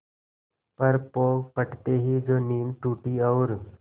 पर पौ फटते ही जो नींद टूटी और